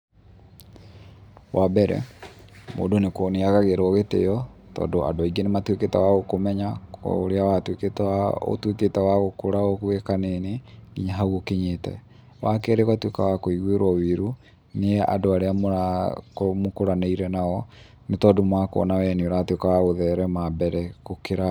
Wa mbere, mũndũ nakuo nĩ agagĩrwo gĩtĩyo tondũ andũ aingĩ nĩ matuĩkĩte wa gũkũmenya ũrĩa watuĩkĩte wa ũtũĩkĩte wa gũkũra wĩ kanini nginya hau ũkinyĩte. Wa kerĩ, ũgatuĩka wa kũigwĩrwo wĩiru nĩ andũ arĩa mũrakorwo mũkũranĩire nao nĩ tondũ makuona wee nĩ ũratuĩka wa gũthereme mbere gũkĩra.